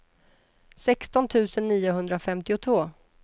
sexton tusen niohundrafemtiotvå